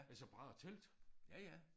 Altså bare telt